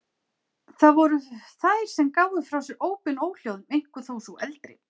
Það voru þær sem gáfu frá sér ópin og óhljóðin, einkum þó sú eldri.